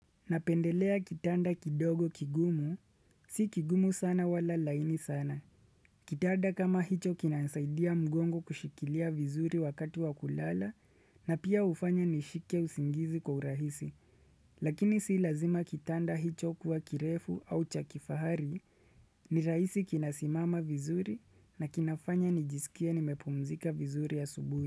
Napendelea kitanda kidogo kigumu. Si kigumu sana wala laini sana. Kitanda kama hicho kinasaidia mgongo kushikilia vizuri wakati wa kulala na pia hufanya nishike usingizi kwa urahisi. Lakini si lazima kitanda hicho kuwa kirefu au cha kifahari,,, ni rahisi kinasimama vizuri na kinafanya nijisikia nimepumzika vizuri ya asubuhi.